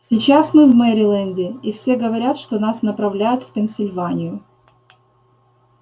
сейчас мы в мериленде и все говорят что нас направляют в пенсильванию